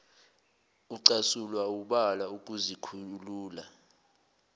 ucasulwa wubala ukuzikhulula